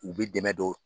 U bɛ dɛmɛ don